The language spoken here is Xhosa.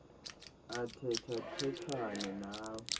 athetha thethane nawe